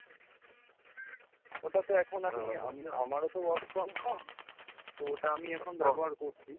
ওটা তো এখন আমি আমারও তো work from home, তো ওটা আমি এখন ব্যবহার করছি।